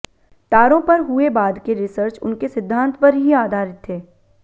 तारों पर हुए बाद के रिसर्च उनके सिद्धांत पर ही आधारित थे